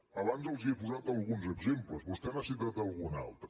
abans els n’he posat alguns exemples vostè n’ha citat algun altre